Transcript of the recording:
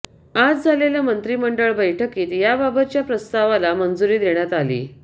आज झालेल्या मंत्रिमंडळ बैठकीत याबाबतच्या प्रस्तावाला मंजुरी देण्यात आली